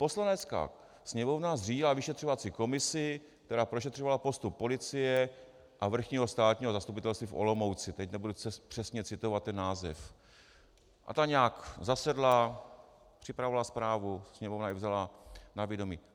Poslanecká sněmovna zřídila vyšetřovací komisi, která prošetřovala postup policie a Vrchního státního zastupitelství v Olomouci, teď nebudu přesně citovat ten název, a ta nějak zasedla, připravovala zprávu, Sněmovna ji vzala na vědomí.